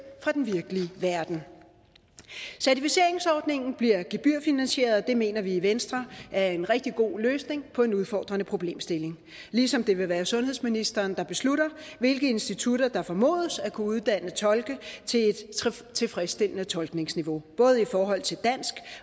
fra den virkelige verden certificeringsordningen bliver gebyrfinansieret og det mener vi i venstre er en rigtig god løsning på en udfordrende problemstilling ligesom det vil være sundhedsministeren der beslutter hvilke institutter der formodes at kunne uddanne tolke til et tilfredsstillende tolkningsniveau både i forhold til dansk